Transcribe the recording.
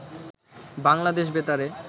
বাংলাদেশ বেতারে